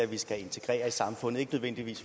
vi så integrerer i samfundet